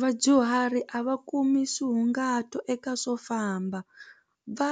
Vadyuhari a va kumi eka swo famba va